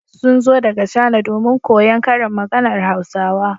Sun zo daga Chana domin koyon karin maganar Hausawa.